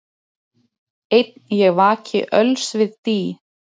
Einn ég vaki öls við dý,